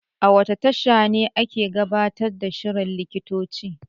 A wace tasha ake gabatar da shirin likitoci?